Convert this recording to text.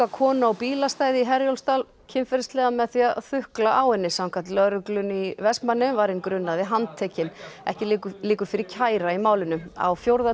konu á bílastæði í Herjólfsdal kynferðislega með því að þukla á henni samkvæmt lögreglunni í Vestmannaeyjum var hinn grunaði handtekinn ekki liggur liggur fyrir kæra í málinu á fjórða